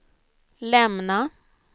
lämna